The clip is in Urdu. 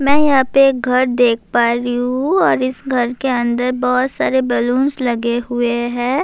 میں یہاں پر گھر دیکھ پا رہی ہوں اور اس گھر کے اندر بہت سارے بیلون لگے ہوئے ہیں-